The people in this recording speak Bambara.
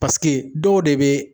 Paseke dɔw de be